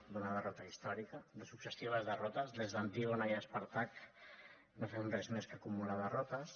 d’una derrota històrica de successives derrotes des d’antígona i espàrtac no fem res més que acumular derrotes